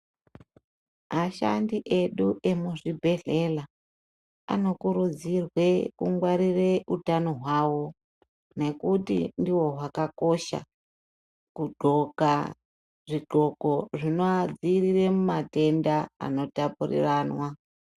Ashandi edu vemuzvibhedhlera vanokurudzirwa kungwarira hutano hwavo nekuti ndiwo vakakosha Kugonka zvigonkon zvinova matenda anotapurirwana.